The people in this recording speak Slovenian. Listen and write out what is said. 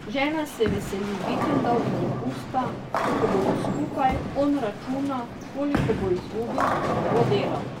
Žena se veseli vikendov in dopusta, ko bodo skupaj, on računa, koliko bo izgubil, ker ne bo delal.